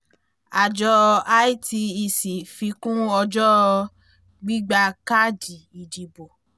àjọ itec fi kún ọjọ́ gbígbà káàdì ìdìbò